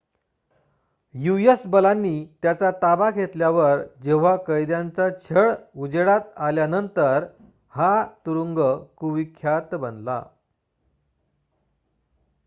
US बलांनी त्याचा ताबा घेतल्यावर जेव्हा कैद्यांचा छळ उजेडात आल्यानंतर हा तुरुंग कुविख्यात बनला